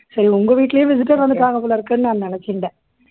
சரி உங்க வீட்டிலேயும் visitor வந்துட்டாங்க போலருக்குன்னு நான் நினைச்சுண்டேன்